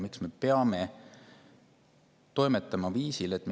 Miks me peame toimetama sellisel viisil?